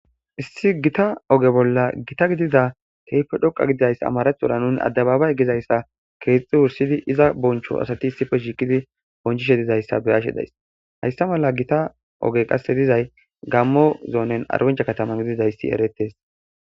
Issi giita ogge bolla giita giiddida kehippe dhoqqa giddidayssa amarathora nuuni adebbabaye giizayssa kexxi wuurssidi iiza bonchcho assati issippe shiiqqidi bonchchishe diizayssa beashe dayssi haayssa malla oggey qasse diizay gaamo zoone arbbamincce kaatama giididayssi eerettes.